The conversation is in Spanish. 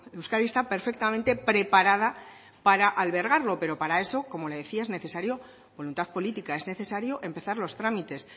euskadi está perfectamente preparada para albergarlo pero para eso como le decía es necesario es voluntad política es necesario empezar los trámites